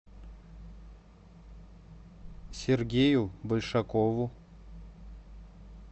сергею большакову